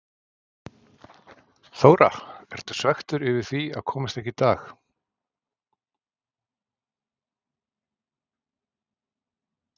Þóra: Ertu svekktur yfir því að komast ekki í dag?